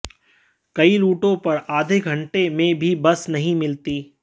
कई रूटों पर आधे घंटे में भी बस नहीं मिलती